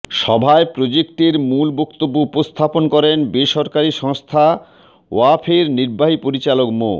সভায় প্রজেক্টের মূল বক্তব্য উপস্থাপন করেন বেসরকারি সংস্থা ওয়াফের নির্বাহী পরিচালক মো